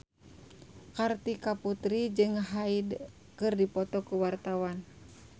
Kartika Putri jeung Hyde keur dipoto ku wartawan